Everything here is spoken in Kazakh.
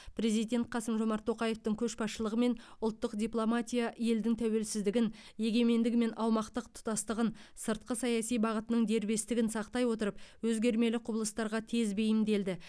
президент қасым жомарт тоқаевтың көшбасшылығымен ұлттық дипломатия елдің тәуелсіздігін егемендігі мен аумақтық тұтастығын сыртқы саяси бағытының дербестігін сақтай отырып өзгермелі құбылыстарға тез бейімделді